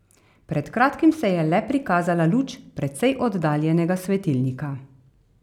Pred kratkim se je le prikazala luč precej oddaljenega svetilnika.